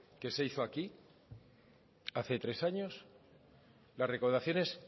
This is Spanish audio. que se hizo aquí hace tres años las recaudaciones